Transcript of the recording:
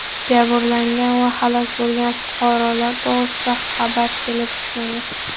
Jabrlangan va halok bo‘lgan fuqarolar to‘g‘risida xabar kelib tushmagan.